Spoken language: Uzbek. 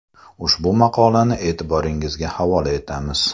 Ushbu maqolani e’tiboringizga havola etamiz.